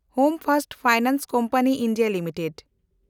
home first finance company India limited